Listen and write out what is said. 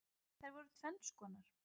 Þær voru tvenns konar.